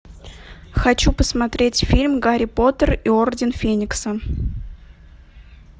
хочу посмотреть фильм гарри поттер и орден феникса